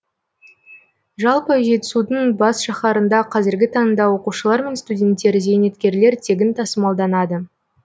жалпы жетісудың бас шаһарында қазіргі таңда оқушылар мен студенттер зейнеткерлер тегін тасымалданады